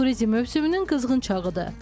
Turizm mövsümünün qızğın çağıdır.